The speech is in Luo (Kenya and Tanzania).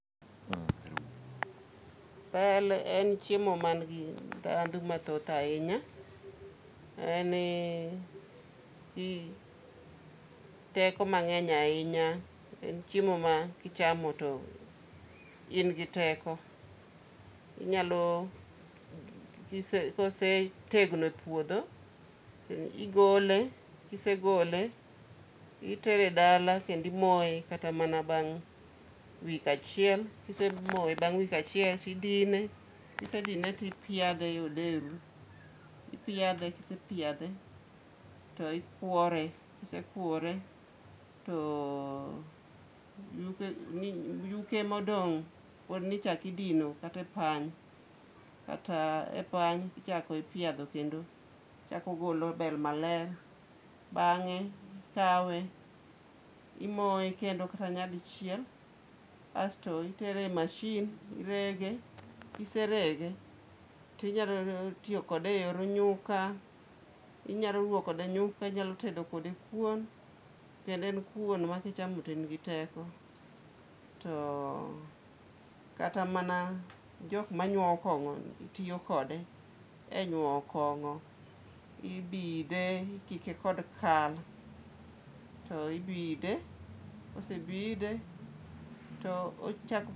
Bel en chiemo man gi ndhandhu mathoth ahinya, en gi teko mang'eny ahinya. En chiemo ma kichamo to in gi teko. Inyalo kosetegno e puodho, to igole, kisegole, itere e dala kendimoye kata mana bang week achiel. Kisemoye bang' week achiel, tidine, kisedine tipiadhe e odheru, ipiadhe to kisepiadhe to ikwore. Kisekwore, to yuke modong' podnichakidino kata e pany tichako ipiadho kendo ochakogolo bel maler. Bang'e ikawe, imoye kendo kata nyadichiel, asto itere e machine irege, kiserege tinyalo tiyokode e yor nyuka. Inyalo ruwo kode nyuka, inyalo tedo kode kuon, kendo en kuon makichamo to in gi teko. To kata mana jokmanyuowo kong'a tiyo kode e nyuowo kong'o. Ibide, ikike kod kal, to ibide, kosebide to ochak.